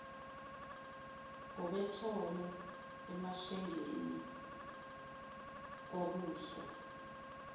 ngobethole emashengeni kwabuswa